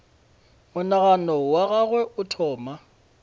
monagano wa gagwe o thoma